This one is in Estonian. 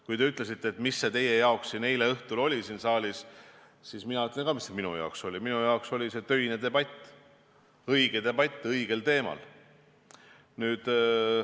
Kui te ütlesite, et mis see teie jaoks siin eile õhtul oli siin saalis, siis mina ütlen ka, mis see minu jaoks oli, minu jaoks oli see töine debatt, õige debatt õigel teemal.